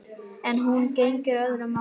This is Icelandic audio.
En nú gegnir öðru máli.